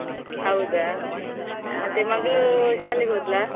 ಹೌದಾ? ಮಗ್ಳು ಶಾಲೆಗ್ ಹೋದ್ಲಾ?